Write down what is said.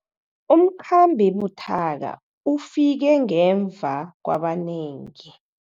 Umkhambi buthaka ufike ngemva kwabanengi.